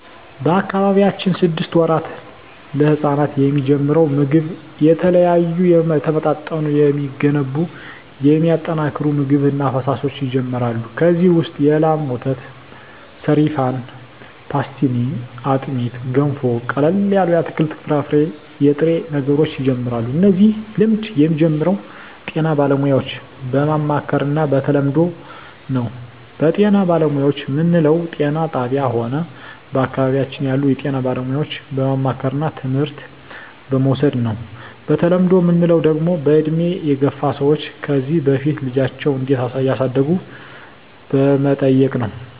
በአካባቢያችን ስድስት ወራት ለህጻናት የሚጀምረው ምግብ የተለያዩ የተመጣጠኑ የሚገነቡ የሚያጠናክሩ ምግብ እና ፈሣሾች ይጀመራሉ ከዚ ውሰጥ የላም ወተት ሰሪፋን ፓሥትኒ አጥሜት ገንፎ ቀለል ያሉ የአትክልት የፍራፍሬ የጥሬ ነገሮች ይጀምራሉ እነዚህ ልምድ የሚጀምረው ጤና ባለሙያዎች በማማከር እና በተለምዶው ነው በጤና ባለሙያዎች ምንለው ጤና ጣብያ ሆነ በአካባቢያችን ያሉ የጤና ባለሙያዎች በማማከርና ትምህርት በመዉሰድ ነው በተለምዶ ምንለው ደግሞ በእድሜ የገፍ ሰዎች ከዚ በፊት ልጃቸው እንዴት እዳሳደጉ በመጠየቅ ነው